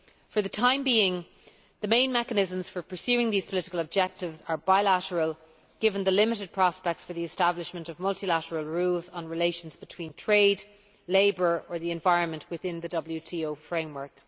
For the time being, the main mechanisms for pursuing these political objectives are bilateral, given the limited prospects for the establishment of multilateral rules and relations between trade, labour and the environment within the WTO framework.